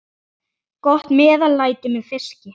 Gott meðlæti með fiski.